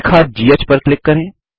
रेखा घ पर क्लिक करें